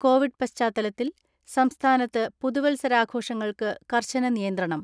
Covid പശ്ചാത്തലത്തിൽ സംസ്ഥാനത്ത് പുതുവത്സരാഘോഷങ്ങൾക്ക് കർശന നിയന്ത്രണം.